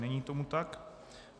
Není tomu tak.